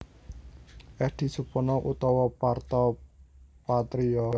Eddy Supono utawa Parto Patrio